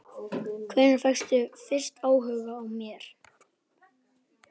Hvenær fékkstu fyrst áhuga á mér?